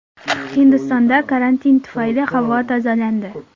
Hindistonda karantin tufayli havo tozalandi.